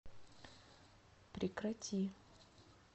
прекрати